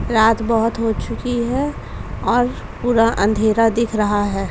रात बहोत हो चुकी है और पूरा अंधेरा दिख रहा है।